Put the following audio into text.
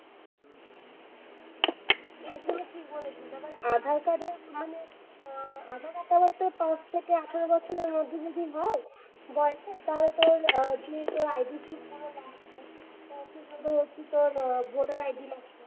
একদম ঠিক বলেছিস মানে আধার-কার্ডের মানে, আহ আধার-কার্ড টা মানে যদি পাঁচ থেকে আঠারো বছরের মধ্যে হয় বয়সে তাহলে তোর আহ যে ID proof গুলো লাগছে। তোর voter ID লাগছে।